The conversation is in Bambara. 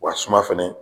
Wa suma fɛnɛ